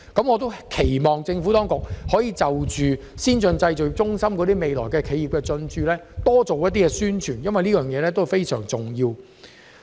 我希望政府當局可就先進製造業中心日後的企業進駐多作宣傳，因為此事非常重要。